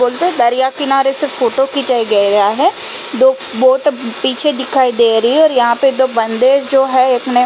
बोलते दरिया किनारे से फोटो खिंचाई गैया है। दो बोट पीछे दिखाई दे रही हैं और यहाँ पे दो बंदे जो हैं एक ने --